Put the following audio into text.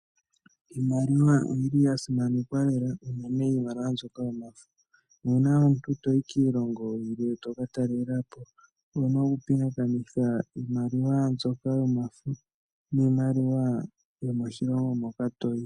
Iimaliwa oyili yasimanekwa lela unene iimaliwa mbyoka yomafo. Nu una omuntu tayi kiilongo yilwe toka talelapo owuna oku pingakanitha iimaliwa mbyoka yomafo niimaliwa mbyoka yomoshilongo moka toyi.